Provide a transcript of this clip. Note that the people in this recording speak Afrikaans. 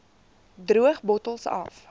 droog bottels af